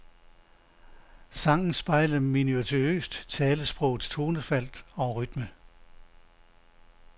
Sangen spejler minutiøst talesprogets tonefald og rytme.